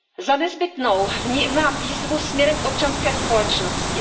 Za nezbytnou vnímám výzvu směrem k občanské společnosti.